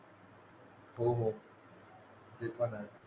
हो हो ते पण आहे